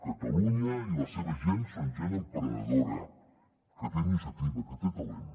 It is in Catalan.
catalunya i la seva gent són gent emprenedora que té iniciativa que té talent